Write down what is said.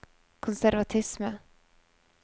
konservatisme